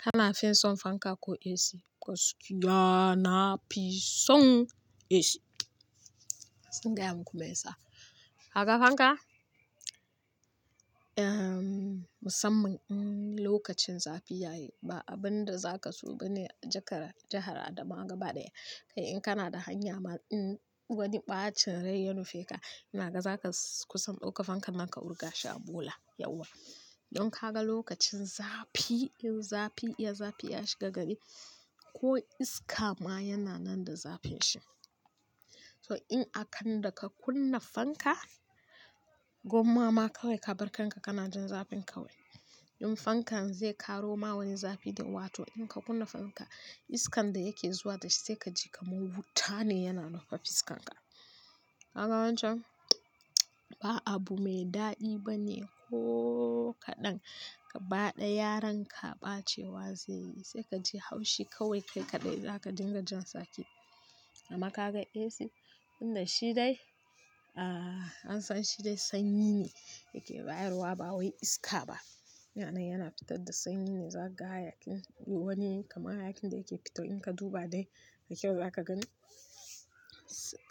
Kana fin son fanka ko AC? Gaskiya na fi son AC. Zan gaya muku me yasa. Gaka fanka, umm, musamman, umm, lokacin zafi ya yi. Ba abin da zaka so ba ne jakar-- jahar Adamawa gaba ɗaya. Kai in kana da hanya ma, in wani ɓacin rai ya nufe ka, inaga zaka kusan ɗauka fankan ka ka wurga shi a bula yauwa. Don ka ga lokacin zafi, in zafi, iya zafi ya shiga gari ko iska ma yana nan da zafin shi. So in akanda ka kunna fanka, gwamma ma kawai ka barkanka kana jin zafin kawai. In fankan zai karo ma wani zafi, to in ka kunna fanka, iskan da yake zuwa da shi sai kaji kamar wuta ne yana nufa fiskanka. Kaga wancan ba abu mai daɗi ba ne kooo kadan ga baɗaya ran ka ɓacewa zai yi sai kaji haushi kawai kai kaɗai zaka dinga jan tsaki. Amma ka ga AC, inda shi dai, ahhh, an san shi dai sanyi ne yake bayarwa ba wai iska ba. Yanai yana fitar da sanyi ne, zaka ga hayakin wani kamar hayakin da yake fitar in ka duba dai da kyau zaka gani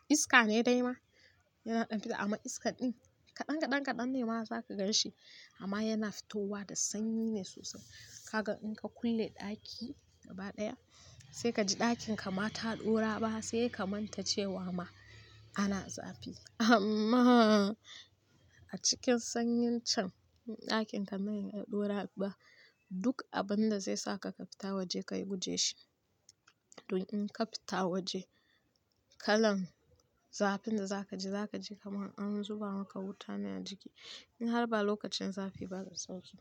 iska ne dai ma yana ɗan fita. Amma iska ɗin kaɗan kaɗan kaɗan ne ma zaka gan shi amma yana fitowa da sanyi ne sosai. Kaga in ka kulle ɗaki gaba ɗaya sai kaji ɗakin kama ta dau raba sai ka manta cewa ma ana zafi. Amma a cikin sanyin can din ɗakin ka nan ya dau raba duk abin da zai sa ka fita waje kayi guje shi. Don in ka fita waje kalan zafin da zaka ji zaka ji kamar an zuba maka wuta ne a jiki in har ba lokacin zafi ba da sauki.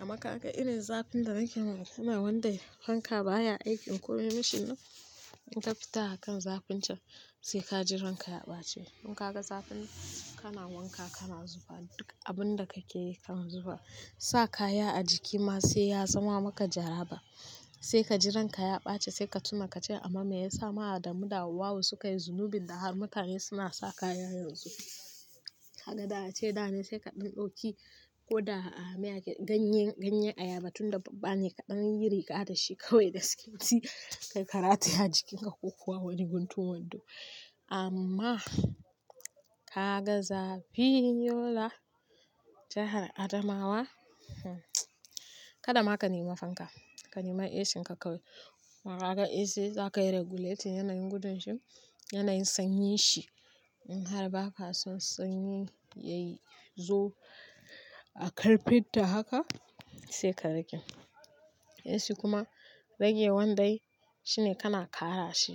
Amma ka ga irin zafin da nake nuna, yana wanda fanka baya aiki in ko ya yi mashinan in ka fita a kan zafin can sai ka ji ranka ya ɓace. In ka ga zafin kana wanka kana zuba duk abin da kake kana zuba sa kaya a jiki ma sai ya zama maka jaraba sai ka ji ranka ya ɓace sai ka tuna ka ce amma me yasa ma Adamu da Hauwa'u suka yi zunubin da har mutane suna sa kaya yanzu. Kaga da ace dane sai ka dan dauki ko da ganye ayaba tun da babba ne ka dan yi riga da shi kawai gaskiya kayi rataya a jikin ka ko kuwa wani guntun wando amma ka ga zafi Yola, jahar Adamawa, hmm, kada ma ka nema fanka ka nema AC ka kawai. Kuma ka ga AC za ka yi regulating yanayin gudun shi, yanayin sanyi shi in har ba ka son sanyi yayi zo a karfin ta haka sai ka rage. AC kuma rage wandai shine kana kara shi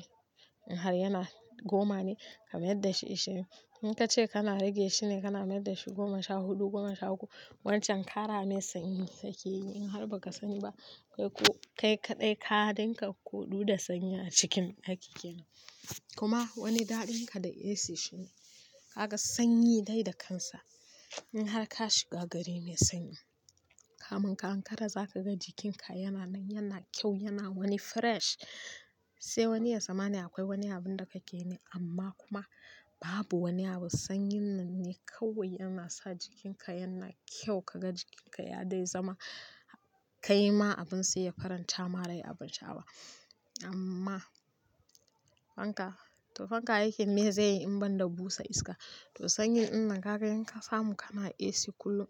in har yana goma ne ka mai dashi ashirin. In ka ce kana rage shi ne kana mayar da shi goma sha huɗu, goma sha uku. Wancan ƙara mai sanyi yake yi in har ba ka sani ba. Kai ku-- kai kaɗai kaɗin ka hudu da sanyi a cikin aiki kenan. Kuma wani daɗin ka da AC shi ne kaga sanyi dai da kansa in har ka shiga gari mai sanyi. Kamin ka ankara zaka ga jikin ka yana nan yana kyau yana wani fresh sai wani tsammani akwai wani abun da kake yi ne amma kuma babu wani abu. Sanyi nan ne kawai yana sa jikin ka yana kyau kaga jikin ka ya dai zama kai ma abun sai ya faranta ma rai abartawa amma fanka, to fanka aikin me zai yi in ban da busa iska? To sanyi in nan ka ga in ka samu kana AC kullum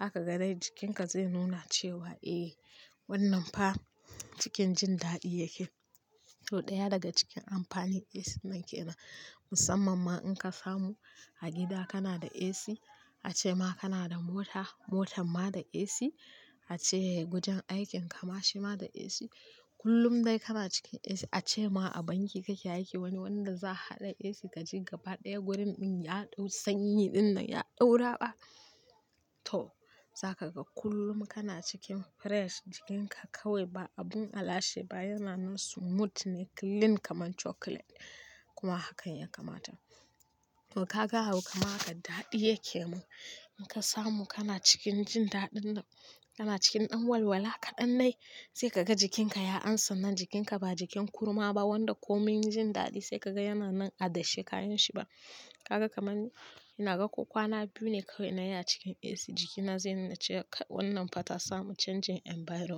zaka ga dai jikinka zai nuna cewa "Eh wannan fa cikin jin daɗi yake." To ɗaya daga cikin amfani AC nan yake nan musamman ma in ka samu a gida kana da AC, ace ma kana da mota, motan ma da AC, ace wajan aikin ka ma shi ma da AC. Kullum dai kana cikin AC. Ace ma a banki kake aiki wani wanda za a haɗa AC ka ji gaba ɗaya wurin min ya ɗau sanyi ɗin nan ya ɗaura ba. To za ka ga kullum kana cikin fresh jikinka kawai ba abun alashe ba yana nan smooth ne clean kaman chocolate kuma hakan ya kamata. To ka ga hau kama haka daɗi yake mun. In ka samu kana cikin jin daɗin da, kana cikin ɗan walwala kaɗanai sai ka ga jikinka ya amsa nan jikinka ba jikin kurma ba wanda komai jin daɗi sai ka ga yana nan a dashe kayan shi ba. Kaga kamar ina ga ko kwana biyu ne kawai na yi a cikin AC jikina zai nuna cewa wannan fa ta samu canjin environment.